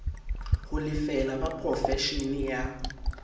ho lefela ba porofeshene ya